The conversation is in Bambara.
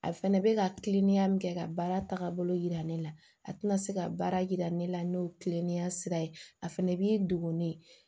A fɛnɛ bɛ ka kiliniya min kɛ ka baara taabolo yira ne la a tɛna se ka baara yira ne la n'o kilennenya sira ye a fɛnɛ b'i degun ne ye